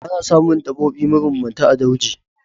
Ana samun daɓobi mabambanta a dauji.